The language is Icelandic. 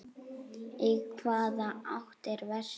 Í hvaða átt er vestur?